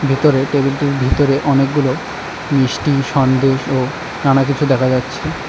ভেতরে টেবিলটির ভিতরে অনেকগুলো মিষ্টি সন্দেশ ও নানা কিছু দেখা যাচ্ছে।